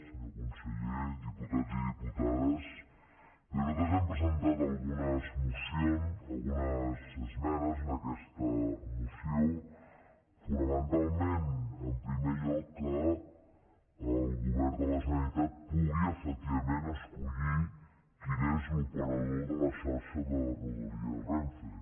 senyor conseller diputats i diputades bé nosaltres hem presentat algunes esmenes a aquesta moció fonamentalment en primer lloc que el govern de la generalitat pugui efectivament escollir quin és l’operador de la xarxa de rodalies renfe